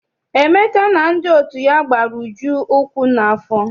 Emeka na ndị enyi ya gbara Uju ukwu n'afọ.